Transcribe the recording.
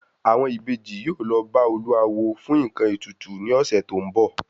Àwọn Ìbejì yóò lọ bá olúawo fún nkan ètùtù ni ọ̀sẹ̀ tó ń bọ̀